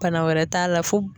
Bana wɛrɛ t'a la fo